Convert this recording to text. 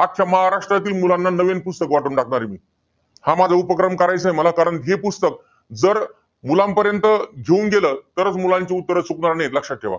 अख्ख्या महाराष्ट्रातील मुलांना, नवीन पुस्तकं वाटून टाकणार आहे मी. हा माझा उपक्रम करायचाय मला. कारण हे पुस्तक, जर मुलांपर्यंत घेऊन गेलं, तरच मुलांची उत्तरं चुकणार नाहीत लक्षात ठेवा.